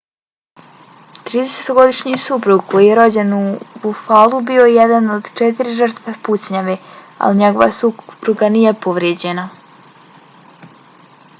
tridesetogodišnji suprug koji je rođen u buffalu bio je jedan od četiri žrtve pucnjave ali njegova supruga nije povrijeđena